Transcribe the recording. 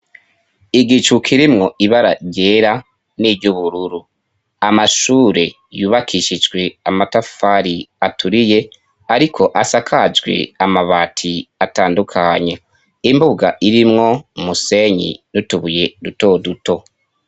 Igicu kirimwo ibara ryera n'iryo ubururu. Amashure yubakishijwe amatafari aturiye, ariko asakajwe amabati atandukanye. Imbuga irimwo umusenyi n'utubuye ruto duto.